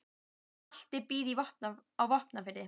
Atli býr á Vopnafirði.